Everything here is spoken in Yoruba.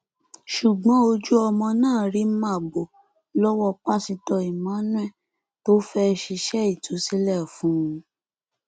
ṣùgbọn ojú ọmọ náà rí màbo lọwọ pásítọ emmanuel tó fẹẹ ṣiṣẹ ìtúsílẹ fún un